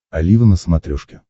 олива на смотрешке